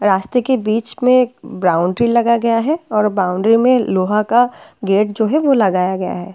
रास्ते के बीच में बाउंड्री लगा गया है और बाउंड्री में लोहा का गेट जो है वो लगाया गया है।